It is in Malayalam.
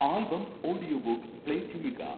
ആൽബം ഓഡിയോബുക്ക് പ്ലേ ചെയ്യുക